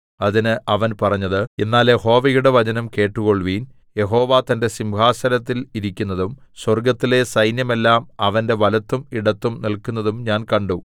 അതിന് അവൻ പറഞ്ഞത് എന്നാൽ യഹോവയുടെ വചനം കേട്ടുകൊൾവിൻ യഹോവ തന്റെ സിംഹാസനത്തിൽ ഇരിക്കുന്നതും സ്വർഗ്ഗത്തിലെ സൈന്യമെല്ലാം അവന്റെ വലത്തും ഇടത്തും നില്ക്കുന്നതും ഞാൻ കണ്ടു